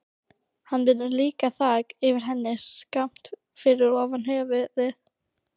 Hann myndaði líka þak yfir henni, skammt fyrir ofan höfuðið.